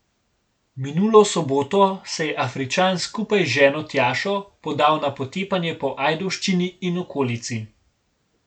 Minulo soboto se je Afričan skupaj z ženo Tjašo podal na potepanje po Ajdovščini in okolici.